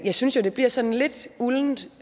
jeg synes jo det bliver sådan lidt uldent